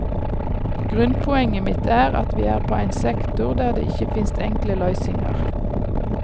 Grunnpoenget mitt er at vi er på ein sektor der det ikkje finst enkle løysingar.